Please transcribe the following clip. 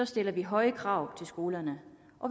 stiller vi høje krav til skolerne